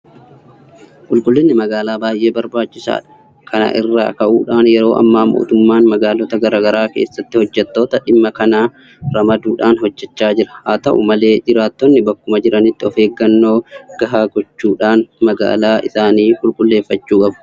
Qulqullinni magaalaa baay'ee barbaachisaadha. Kana irraa ka'uudhaan yeroo ammaa mootummaan magaalota garaa garaa keessatti hojjettoota dhimma kanaa ramaduudhaan hojjechaa jira. Haata'u malee jiraattonni bakkuma jiranitti ofeeggannoo gahaa gochuudhaan magaalaa isaanii qulqulleeffachuu qabu.